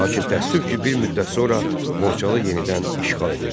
Lakin təəssüf ki, bir müddət sonra Borçalı yenidən işğal edildi.